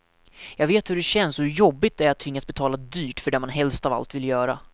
Jag vet hur det känns och hur jobbigt det är att tvingas betala dyrt för det man helst av allt vill göra.